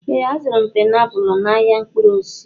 Ee, azụrụ m painiapulu a n'ahịa mkpụrụ osisi.